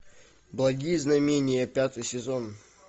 благие знамения пятый сезон